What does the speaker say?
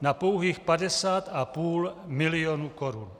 na pouhých 50,5 milionu korun.